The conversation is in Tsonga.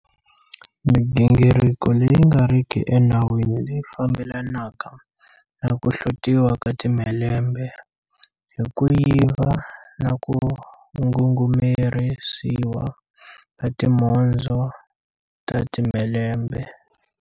Migingiriko leyi nga riki enawini leyi fambelanaka na ku hlotiwa ka timhelembe hi ku yiva na ku ngungumerisiwa ka timhondzo ta timhelembe